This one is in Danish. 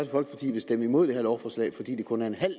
folkeparti vil stemme imod det her lovforslag fordi det kun er en halv